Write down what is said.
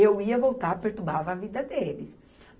Eu ia voltar, perturbava a vida deles.